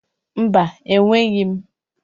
Mba, enweghị m.